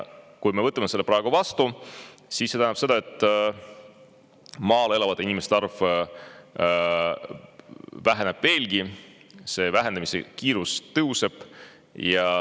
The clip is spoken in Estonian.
Kui me võtame selle praegu vastu, siis see tähendab seda, et maal elavate inimeste arv väheneb veelgi ja selle vähenemise kiirus tõuseb.